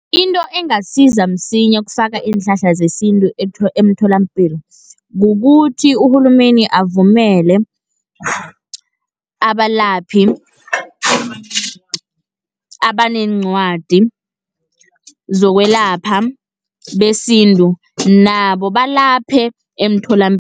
Into engasiza msinya ukufaka iinhlahla zesintu emtholapilo, kukuthi urhulumende avumele abalaphi abaneencwadi zokwelapha besintu, nabo balaphe emtholapilo